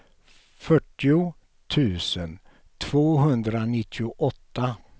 fyrtio tusen tvåhundranittioåtta